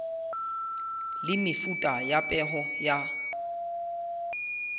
le mefuta ya peo ya